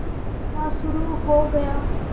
मुकदमा शुरु हो गया